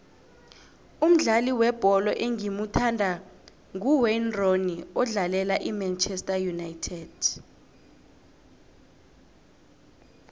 umdlali webholo engimuthandako nguwayne rooney odlalela imanchester united